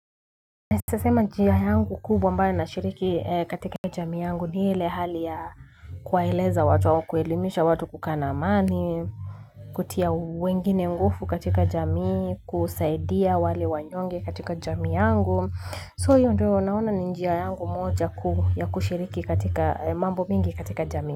Nawezasema njia yangu kubwa ambayo shiriki katika jamii yangu ni ile hali ya kuwaeleza watu au kuelimisha watu kukaa na amani, kutia wengine nguvu katika jamii, kusaidia wale wanyonge katika jamii yangu. So hiyo ndio naona ni njia yangu moja kuu ya kushiriki katika mambo mingi katika jamii.